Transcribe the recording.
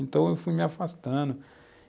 Então eu fui me afastando.